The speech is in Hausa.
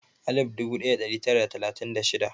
alif dubu ɗaya da tari tara da talatin da shida